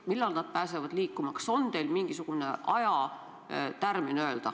Ma väga loodan, et maikuus või juunikuu alguses me näeme teistsugust reisimist näiteks Eesti ja Soome vahel.